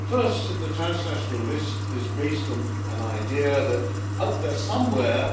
First, the transnational list is based on an idea that out there somewhere